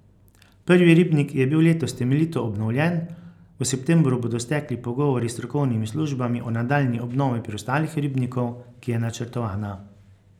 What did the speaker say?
Prvi ribnik je bil letos temeljito obnovljen, v septembru bodo stekli pogovori s strokovnimi službami o nadaljnji obnovi preostalih ribnikov, ki je načrtovana.